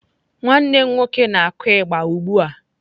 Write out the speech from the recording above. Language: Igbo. Nwanne m nwoke na kụ igba ugbụa.